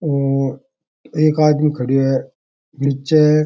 और एक आदमी खड़ो है निच्चे --